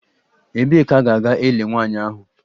Ebee ka a ga-eli nwanyị ahụ?